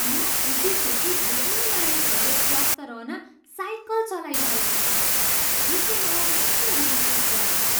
म खुसी छु कि धेरै मानिसहरूले स्वस्थ रहन साइकल चलाइरहेका छन्। यसले मलाई राम्रो महसुस गराउँछ।